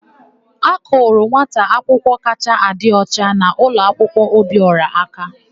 A kụrụ nwata akwụkwọ kachaa adị ọcha n'ụlọakwụkwọ Obiọra aka.